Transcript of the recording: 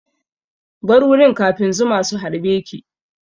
Bar wurin kafin zuma su harbe ki!